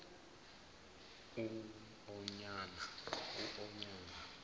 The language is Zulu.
uonyana